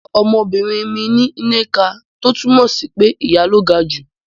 Mà á sọ ọmọbìnrin mi ni Nneka “ tó túmọ̀ sí pé ìyá ló ga jù”.